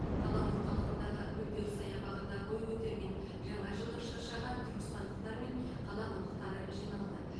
қала орталығындағы гүлдер саябағында бой көтерген жаңажылдық шыршаға түркістандықтар мен қала қонақтары жиналды